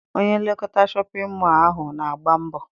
Onye nlekọta Shọpịn mọọ ahụ na-agba mbọ.